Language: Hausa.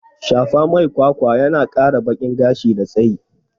Shafa mai kwakwa yana kara bakin gashi da tsayi